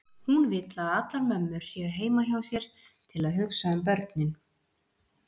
Hún vill að allar mömmur séu heima hjá sér til að hugsa um börnin.